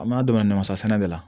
An m'a damana namasasɛnɛ de la